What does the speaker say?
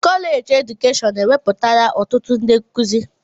Kọleji edukeshọn ewepụtala ọtụtụ ndị nkụzi.